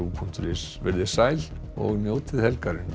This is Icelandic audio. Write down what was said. punktur is veriði sæl og njótið helgarinnar